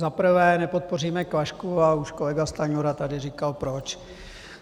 Za prvé, nepodpoříme Klašku a už kolega Stanjura tady říkal proč.